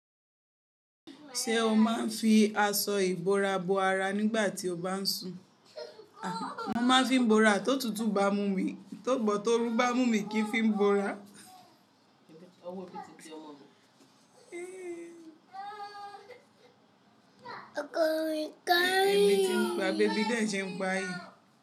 Ṣé o máa ń fi aṣọ ìbora bo ara nígbà tí o bá ń sùn? A, mo máa ń fi bora tó tutù ba mú mi, tó gbọ̀ tó rú ba mú mi kí n fi bora. Èmi ti ń pa bébì de sẹ̀ ń pa yìí.